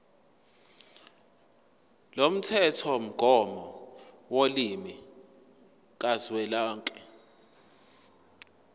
lomthethomgomo wolimi kazwelonke